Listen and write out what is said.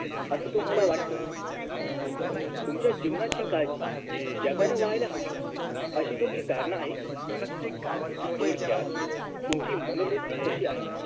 असं तुम्हाला वाटत तुमच्या जीवनाची काळजी जगान व्हायला हवी अशी तुमची धारणा आहे थोडक्यात तुमची मनोवृत्ती कशी आहे